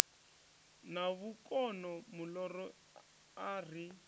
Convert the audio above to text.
na vhukono muloro a ri